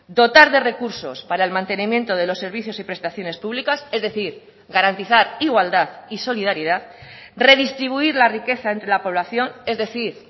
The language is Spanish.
dotar de recursos para el mantenimiento de los servicios y prestaciones públicas es decir garantizar igualdad y solidaridad redistribuir la riqueza entre la población es decir